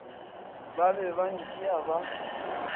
ba be ba ntšea ba